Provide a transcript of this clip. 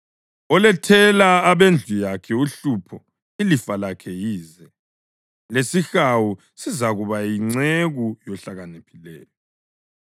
Olethela abendlu yakhe uhlupho ilifa lakhe yize, lesihawu sizakuba yinceku yohlakaniphileyo.